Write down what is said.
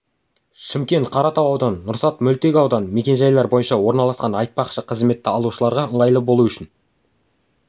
шымкент қаратау ауданы нұрсат мөлтек ауданы мекен-жайлары бойынша орналасқан айтпақшы қызметті алушыларға ыңғайлы болу үшін